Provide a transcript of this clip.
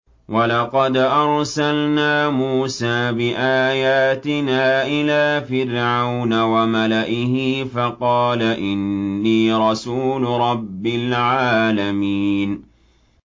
وَلَقَدْ أَرْسَلْنَا مُوسَىٰ بِآيَاتِنَا إِلَىٰ فِرْعَوْنَ وَمَلَئِهِ فَقَالَ إِنِّي رَسُولُ رَبِّ الْعَالَمِينَ